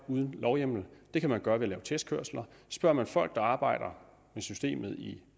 uden lovhjemmel det kan man gøre ved at lave testkørsler spørger man folk der arbejder med systemet i